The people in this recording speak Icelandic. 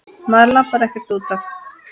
Maður labbar ekkert út af.